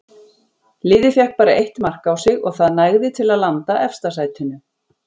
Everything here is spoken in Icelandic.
Liðið fékk bara eitt mark á sig og það nægði til að landa efsta sætinu.